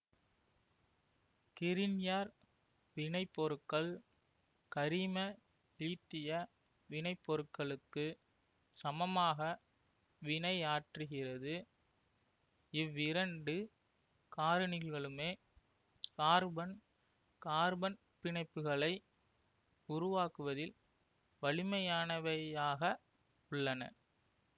Grignard வினைப்பொருட்கள் கரிம லீத்திய வினைப்பொருட்களுக்கு சமமாக வினையாற்றுகிறது இவ்விரண்டு காரணிகளுமே கார்பன் கார்பன் பிணைப்புகளை உருவாக்குவதில் வலிமையானவையாக உள்ளன